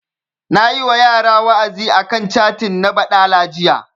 Nayi wa yara wa'azi a kan catin na baɗala jiya